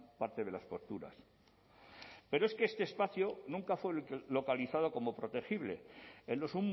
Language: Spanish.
parte de las torturas pero es que este espacio nunca fue localizado como protegible en los